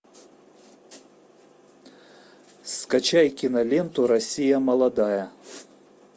скачай киноленту россия молодая